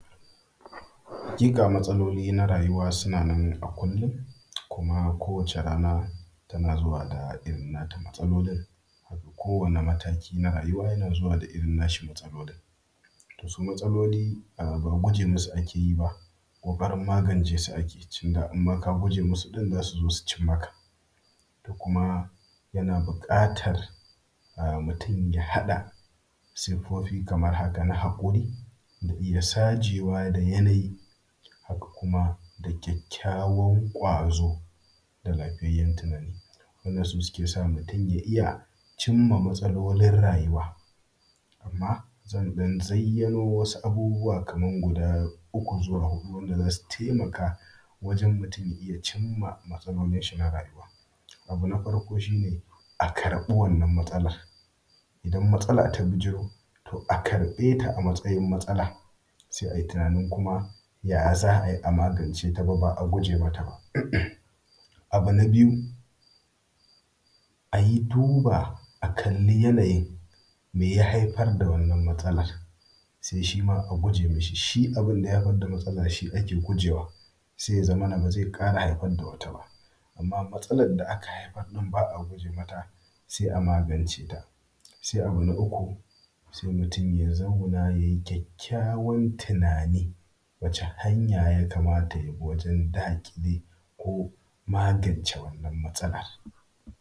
Haƙika matsaloli na rayu sunanan a kullun kuma kowace rana tana zuwa da irin nata matsalolin. Kowani mataki na rayuwa yana zuwa da irin nashi matsalolin. Su matsaloli a ba guje masu ake yi ba, ko ɓarin magancesu ake tunda inma ka guje masu ɗin za su zo su cin maka. To kuma yana buƙatar mutum ya haɗa siffofi kamar haka, na hakuri da iya sajewa da yanayi, haka kuma da kyakykyawan ƙwazo da lafiyayyan tunani. Wannan su ke sa mutum ya iya cimma matsalolin rayuwa. Amma zan ɗan zaiyano wasu abubuwa kaman guda uku zuwa hudu wanda zasu taimaka, wajen mutum ya cimma matsalolinshi na rayuwa. Abu na farko shine, a karɓi wannan matsalar, idan matsala ta bijiro to a karbe ta a matsayin matsala, se ai tunanin kuma ya za a yi a magance ta ba ba a guje mata ba. Abu na biyu a yi duba a kalli yanin me ya haifar da wannan matsalar, se shima a guje mashi, shi abunda ya haifar da matsala shi ake gujewa, se ya zamana ba ze ƙara haifar dawata ba, amma matsalar da aka haifar ɗin ba’a guje mata se a magance ta. Se abu na uku, se mutum ya zauna yayi kwakykyawan tunani, wace hanya ya kamata ya bi wajen daƙile, ko magance wannan matsalar.